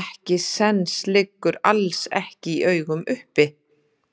ekkisens liggur alls ekki í augum uppi.